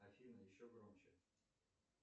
афина еще громче